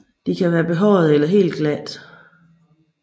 De kan være behårede eller helt glatte